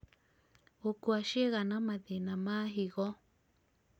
gũkua ciĩga na mathĩna ma higo